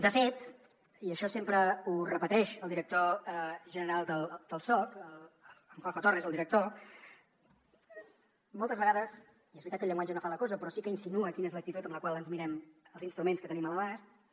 de fet i això sempre ho repeteix el director general del soc en juanjo torres el director moltes vegades i és veritat que el llenguatge no fa la cosa però sí que insinua quina és l’actitud amb la qual ens mirem els instruments que tenim a l’abast